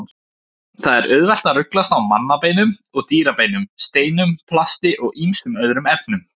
Það er auðvelt að ruglast á mannabeinum og dýrabeinum, steinum, plasti og ýmsum öðrum efnum.